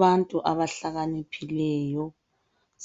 bantu abahlakaniphileyo